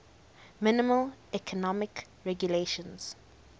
minimal economic regulations